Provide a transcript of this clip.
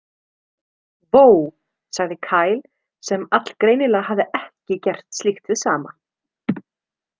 Vó, sagði Kyle sem allgreinilega hafði ekki gert slíkt hið sama.